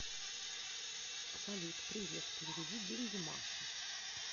салют привет переведи деньги маше